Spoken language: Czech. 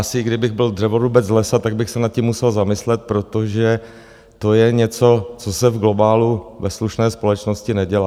Asi kdybych byl dřevorubec z lesa, tak bych se nad tím musel zamyslet, protože to je něco, co se v globálu ve slušné společnosti nedělá.